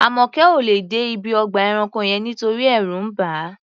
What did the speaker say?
Àmọ̀kẹ́ ò lè dé ibi ọgbà ẹranko yẹn nítorí ẹ̀rù ń bà á.